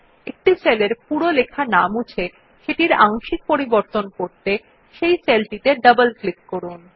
একটি সেলের পুরো বিষয়বস্তু না মুছে সেটির আংশিক পরিবর্তন করতে সেই সেল টিতে ডাবল ক্লিক করুন